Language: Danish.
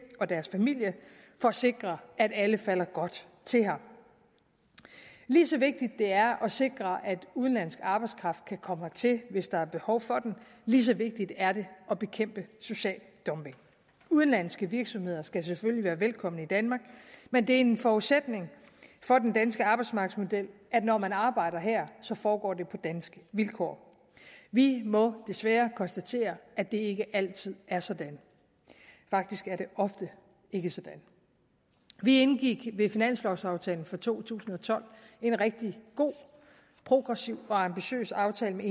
og deres familier for at sikre at alle falder godt til her lige så vigtigt det er at sikre at udenlandsk arbejdskraft kan komme hertil hvis der er behov for den lige så vigtigt er det at bekæmpe social dumping udenlandske virksomheder skal selvfølgelig være velkomne i danmark men det er en forudsætning for den danske arbejdsmarkedsmodel at når man arbejder her foregår det på danske vilkår vi må desværre konstatere at det ikke altid er sådan faktisk er det ofte ikke sådan vi indgik ved finanslovaftalen for to tusind og tolv en rigtig god progressiv og ambitiøs aftale med